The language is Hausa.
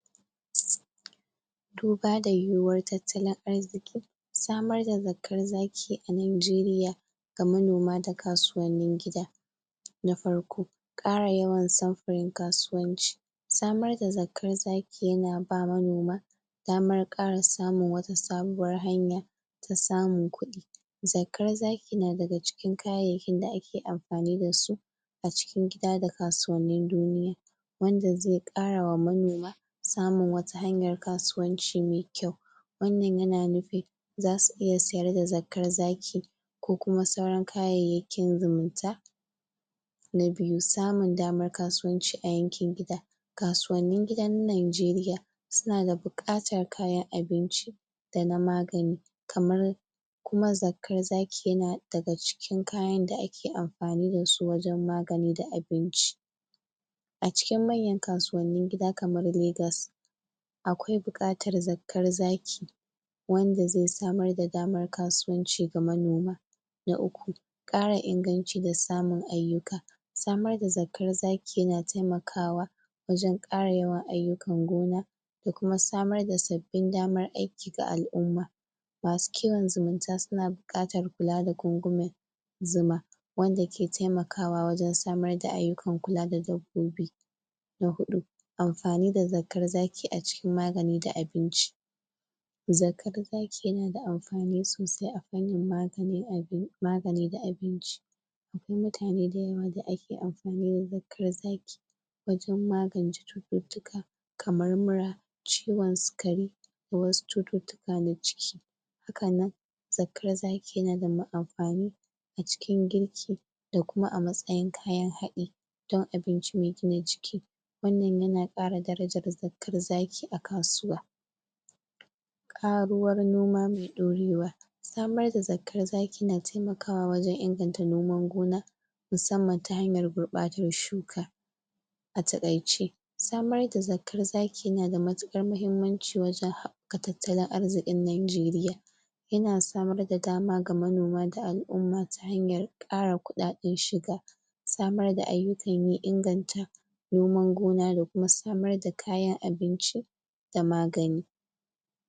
duba da yiwuwar tattalin arziƙi samar da zakkar zaki a najeriya ga manoma da kasuwannin gida. Na farko ƙara yawan samfurin kasuwanci samar da zakkar zaki yana ba manoma damar ƙara samun wata sabuwar hanya ta samun kuɗi zakkar zaki na daga cikin kayayyakin da ake amfani dasu a cikin gida da kasuwannin duniya wanda zai ƙarawa manoma wata hanyar kasuwanci mai kyau wannan yana nufin zasu iya sayar da zakkar zaki ko kuma wasu kayayyakin zumunta na biyu samun damar kasuwanci a yankin gida kasuwannin gida na najeriya suna da buƙatar kayan abinci da na magani kamar kuma zakkar zaki yana daga cikin kayan da ake amfani dasu wajen magani da abinci a cikin manyan kasuwannin gida kamar legas akwai buƙatar zakkar zaki wanda zai samar da damar kasuwanci ga manoma. Na uku ƙara inganci da samun ayyuka samar da zakkar zaki yana taimakawa wajen ƙara yawan ayyukan gona da kuma samar da sabbin damar aiki ga al'umma. masu kiwon zumunta suna buƙatar kula da gungumen zuma wanda ke taimakawa wajen samun ayyukan kula da dabbobi na huɗu amfani da zakkar zaki a cikin magani da abinci zakkar zaki yana da amfani sosai a fannin magani da abinci mutane dayawa da ake amfani da zakkar zaki wajen magance cututtuka kamar mura ciwon sikari ko wasu cututtuka na ciki hakanan zakkar zaki yana da amfani a cikin girki da kuma a matsayin kayan haɗi dan abinci mai gina jiki wannan yana ƙara darajar zakkar zaki a kasuwa ƙaruwar noma mai ƙorewa samar da zakkar zaki na taimakawa wajen inganta noman gona musamman ta hanyar gurɓatar shuka a taƙaice samar da zakkar zaki yana da matuƙar mahimmanci wajen haɓɓaka tattalin ariziƙin najeriya yana samar da dama ga manoma da al'umma ta hanyar ƙara kuɗaɗen shiga samar da ayyukan yi inganta noman gona da kuma samar da kayan abinci da magani.